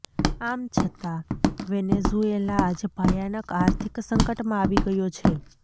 આમ છતાં વેનેેઝુએલા આજે ભયાનક આર્થિક સંકટમાં આવી ગયો છે